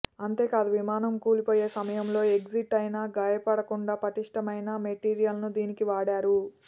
అంతేకాదు విమానం కూలిపోయే సమయంలో ఎగ్జిట్ అయినా గాయపడకుండా పటిష్ఠమైన మెటీరియల్ను దీనికి వాడారు